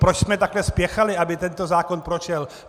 Proč jsme takto spěchali, aby tento zákon prošel?